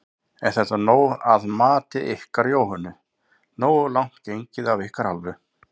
Er þetta nóg að mati ykkar Jóhönnu, nógu langt gengið af ykkar hálfu?